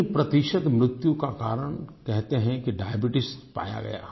3 प्रतिशत मृत्यु का कारण कहते हैं कि डायबीट्स पाया गया